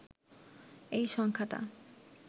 এই সংখ্যাটা